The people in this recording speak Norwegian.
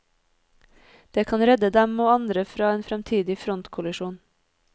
Det kan redde dem og andre fra en fremtidig frontkollisjon.